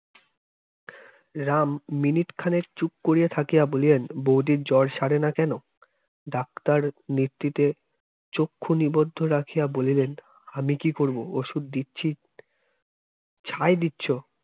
Ram minute খানের চুপ করে থাকে বলিয়েন বৌদির জ্বর সারে না কেন doctor নেতৃত্বে চক্ষু নিবদ্ধ রাখিয়া বলিলেন আমি কি করবো ওষুধ দিচ্ছি ছাই দিচ্ছ